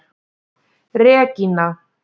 Regína